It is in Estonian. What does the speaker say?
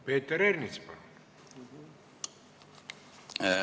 Peeter Ernits, palun!